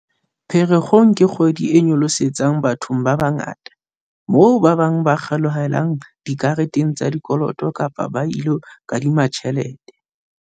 "Pherekgong ke kgwedi e nyolosetsang bathong ba bangata, moo ba bang ba kgelohelang dikareteng tsa dikoloto kapa ba ilo kadima tjhelete."